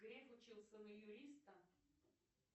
греф учился на юриста